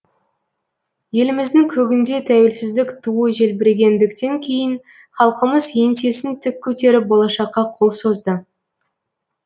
еліміздің көгінде тәуелсіздік туы желбірегендіктен кейін халқымыз еңсесін тік көтеріп болашаққа қол созды